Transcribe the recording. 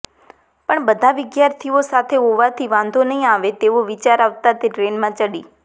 પણ બધા વિદ્યાર્થીઓ સાથે હોવાથી વાંધો નહીં આવે તેવો વિચાર આવતાં તે ટ્રેનમાં ચડી